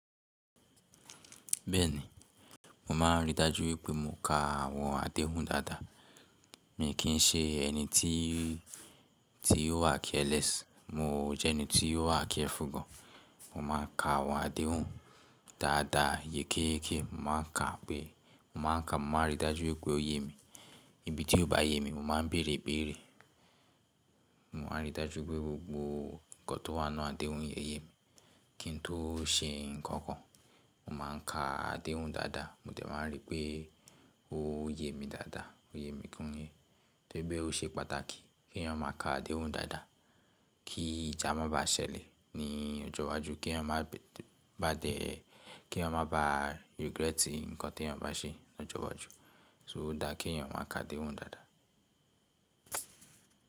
Bẹ́ẹ̀ni, mo máa n ríi dájú wípé mo ka àwọn adéhùn dáadáa. Mi kì í ṣe ẹni tí, tí yóò wà careless, mo jẹ́ ẹni tí ò wà careful gan. Mo máa n ka àwọn adéhùn dáadáa, yékéyéke. Mo máa n ka pé, mo máa n ka, mo máa n ríi dájú wípé ó yé mi. Ibi tí ó bá yé mi mo máa n bèèrè ibèèrè. Mo máa n ríi dájú wípé gbogbo nǹkan tó wà nínú adéhùn yén ye mí. Kí n tó ṣe nǹkan kan, mo máa n ka adéhùn dáadáa mo dẹ̀ máa n ríi pé ó yé mi dáadáa, ó yé mi gún ye. Tó rí pe ó ṣe pàtàkì kí ènìyàn máa ka adéhùn dáadáa, kí ìjà má ba ṣẹlẹ̀ ní ọjọ́ iwájú, kí ènìyàn má bá dé, kí ènìyàn má bá regret nǹkan tí ènìyàn bá ṣe lọ́jọ́ iwájú. So oda kí èyàn má ka adéhùn dáadáa.